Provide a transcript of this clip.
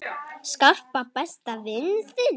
Skarpa, besta vin þinn!